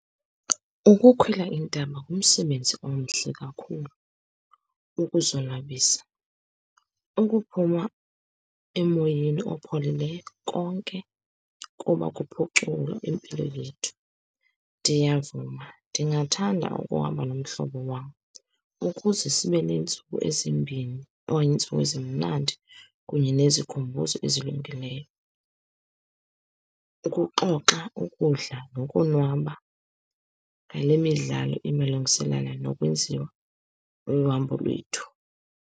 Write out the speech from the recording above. Ukukhwela intaba ngumsebenzi omhle kakhulu ukuzonwabisa, ukuphuma emoyeni opholileyo, konke kuba kuphuculwa impilo yethu. Ndiyavuma, ndingathanda ukuhamba nomhlobo wam ukuze sibe nentsuku ezimbini okanye intsuku ezimnandi, kunye nezikhumbuzo ezilungileyo, ukuxoxa, ukudla, nokonwaba ngale midlalo imalungiselana nokwenziwa lolu hambo lwethu.